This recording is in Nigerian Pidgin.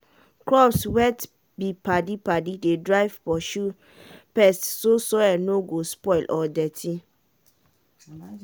when you mix crops mix crops e dey save money for fertilizer and ground go dey well.